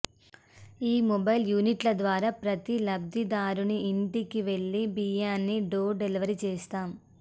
ఈ మొబైల్ యూనిట్ల ద్వారా ప్రతి లబ్ధిదారుని ఇంటికి వెళ్లి బియ్యాన్ని డోర్ డెలివరీ చేస్తాం